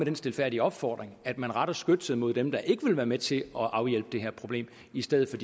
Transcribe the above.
en stilfærdig opfordring at man retter skytset mod dem der ikke vil være med til at afhjælpe det her problem i stedet for